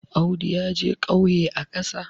Audu ya je ƙauye a ƙasa